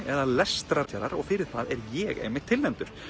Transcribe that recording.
eða lestrarhvetjarar og fyrir það er ég einmitt tilnefndur